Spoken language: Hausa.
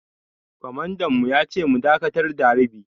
Kwamandan mu ya ce mu dakatar da harbi.